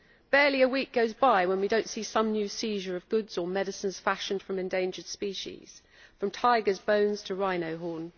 Barely a week goes by when we do not see some new seizure of goods or medicines fashioned from endangered species, from tigers' bones to rhino horn.